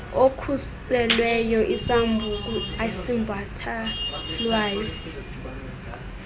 okhuselweyo isambuku esibhatalwayo